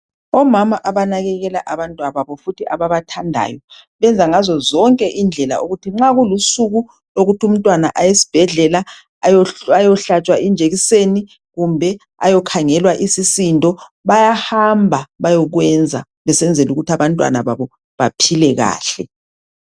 Omama abanakekela abantwababo futhi ababathandayo, benza ngazo zonke indlela ukuthi nxa kulusuku lokuthi umntwana ayesibhedlela ayohlatshwa injekiseni kumbe ayokhangelwa isisindo, bayahamba bayokwenza besenzela ukuthi abantwana babo baphile kahle.